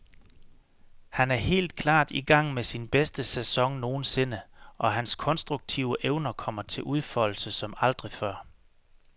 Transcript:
Han er helt klart i gang med sin bedste sæson nogensinde, og hans konstruktive evner kommer til udfoldelse som aldrig før.